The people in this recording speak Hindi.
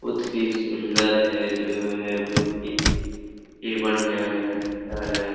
बहुत ही सूंदर है जगह है बहुत ही बढियाँ है --